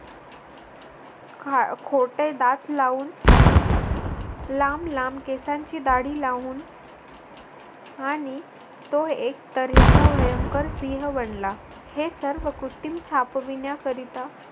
खोटे दात लावून लांब लांब केसांची दाढी लावून आणि तो एक तऱ्हेचा भयंकर सिंह बनला. हे सर्व कृत्रिम छापवीण्याकरिता